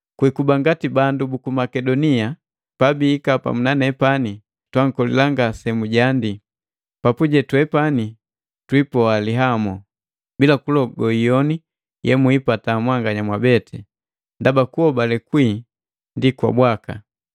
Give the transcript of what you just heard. Kwiikuba ngati bandu buku Makedonia pabiika pamu nane twankolila ngasemujiandii, papuje twepani twiipoa lihamo, bila kulogo iyoni yemwipata mwanganya mwabeti, ndaba kuhobale kwii ndi bwaka.